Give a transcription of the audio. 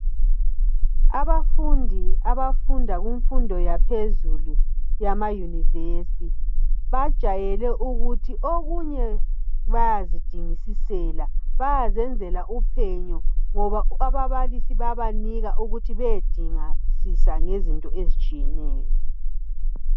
Abafundi abafunda kumfundo yaphezulu yama university bajwayele ukuthi okunye bayazidingisisela bayazenzela uphenyo ngoba ababalisi bayabanika ukuthi beyedingisisa ngezinto ezitshiyeneyo